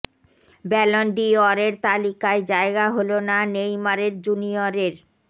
Ballon ডি অরের তালিকায় জায়গা হল না নেইমারের জুনিয়রের